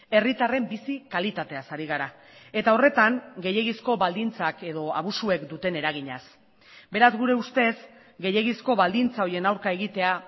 herritarren bizi kalitateaz ari gara eta horretan gehiegizko baldintzak edo abusuek duten eraginaz beraz gure ustez gehiegizko baldintza horien aurka egitea